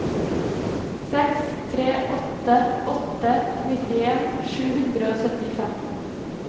seks tre åtte åtte nittien sju hundre og syttifem